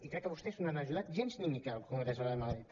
i crec que vostès no hi han ajudat gens ni mica al congreso de madrid